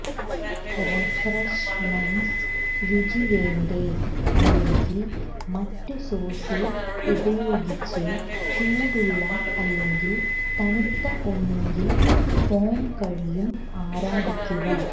refreshments രുചി വേണ്ടേ അല്ലെങ്കിൽ മറ്റ് സോസ് ഉപയോഗിച്ച് ചൂടുള്ള അല്ലെങ്കിൽ തണുത്ത ഒന്നുകിൽ ഫോം കഴിയും ആരാധിക്കുക